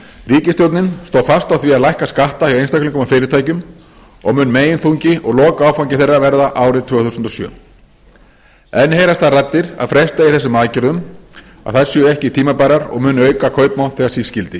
ríkisstjórnin stóð fast á því að lækka skatta hjá einstaklingum og fyrirtækjum og mun meginþungi og lokaáfangi þeirra verða árið tvö þúsund og sjö enn heyrast þær raddir að fresta eigi þessum aðgerðum að þær séu ekki tímabærar og muni auka kaupmátt þegar síst skyldi ég vil